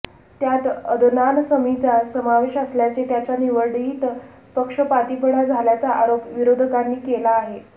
त्यात अदनान समीचा समावेश असल्याचे त्याच्या निवडीत पक्षपातीपणा झाल्याचा आरोप विरोधकांनी केला आहे